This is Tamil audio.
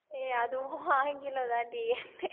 ஏய் அதுவும் ஆங்கிலம் தாண்டி